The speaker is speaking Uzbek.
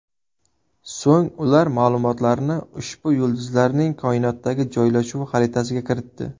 So‘ng ular ma’lumotlarni ushbu yulduzlarning koinotdagi joylashuvi xaritasiga kiritdi.